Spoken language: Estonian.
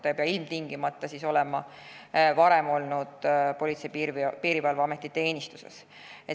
Ta ei pea ilmtingimata olema varem olnud Politsei- ja Piirivalveameti teenistuses.